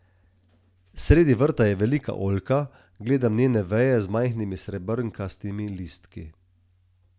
Sredi vrta je velika oljka, gledam njene veje z majhnimi srebrnkastimi listki.